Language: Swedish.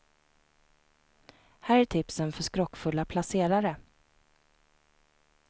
Här är tipsen för skrockfulla placerare.